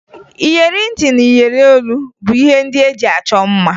Iyeri ntị na iyeri olu bụ ihe ndị e ji achọ mma